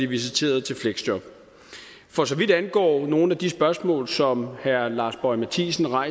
visiteret til fleksjob for så vidt angår nogle af de spørgsmål som herre lars boje mathiesen har